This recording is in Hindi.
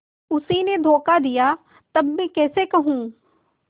उसी ने धोखा दिया तब मैं कैसे कहूँ